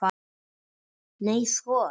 Nei sko!